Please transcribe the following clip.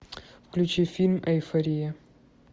включи фильм эйфория